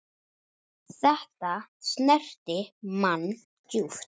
Þetta snerti mann djúpt.